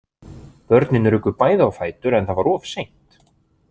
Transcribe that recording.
Börnin ruku bæði á fætur en það var of seint.